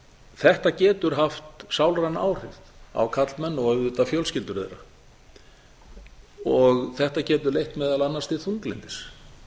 þetta getur haft sálræn áhrif á karlmenn og auðvitað fjölskyldur þeirra þetta getur leitt meðal annars til þunglyndis